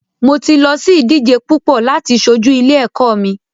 Mo ti lọ sí ìdíje púpọ láti ṣojú ilé ẹ̀kọ́ mi.